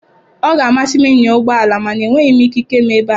Ọ ga-amasị m ịnya ụgbọ ala mana enweghị m ikike m ebe a.